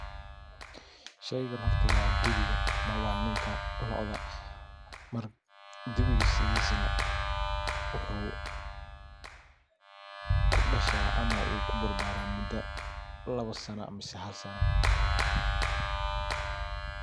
Sheygan horta wa dibiga ama waa ninka locda. Dibiga sidhisana wuxu kudasha ama u kubarbara dacda lawa sanaa ama hal sanaa.